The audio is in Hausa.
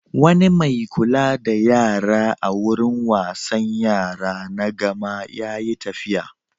Wani mai kula da yara a wurin wasan yara na Gama ya yi tafiya.